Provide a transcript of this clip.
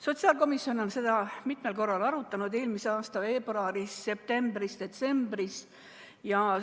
Sotsiaalkomisjon on seda mitmel korral arutanud: eelmise aasta veebruaris, septembris ja detsembris.